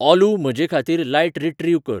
ऑलू म्हजेखातीर light retrieve कर